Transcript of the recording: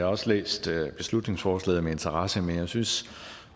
også læst beslutningsforslaget med interesse men jeg synes